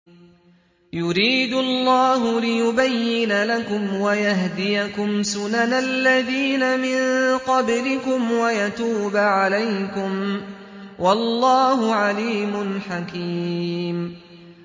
يُرِيدُ اللَّهُ لِيُبَيِّنَ لَكُمْ وَيَهْدِيَكُمْ سُنَنَ الَّذِينَ مِن قَبْلِكُمْ وَيَتُوبَ عَلَيْكُمْ ۗ وَاللَّهُ عَلِيمٌ حَكِيمٌ